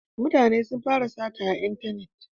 Mutane sun fara sata a intanet